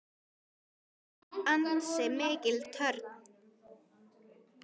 Þetta var ansi mikil törn.